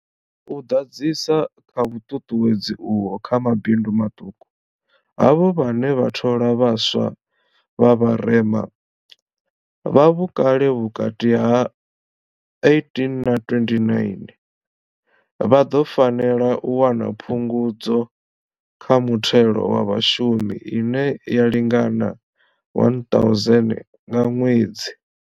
U ḓadzisa kha vhuṱuṱuwedzi uho kha mabindu maṱuku, havho vhane vha thola vha swa vha vharema, vha vhukale ha vhukati ha 18 na 29, vha ḓo fanela u wana phungudzo kha muthelo wa vhashumi ine ya lingana 1000 nga ṅwedzi.